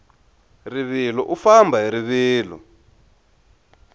rivilo u famba hi rivilo